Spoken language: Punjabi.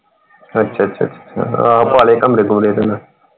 ਅੱਛਾ ਅੱਛਾ ਅੱਛਾ ਹਾਂ ਪਾ ਲਏ ਕਮਰੇ ਪਾਉਣੇ ਪਹਿਲਾਂ।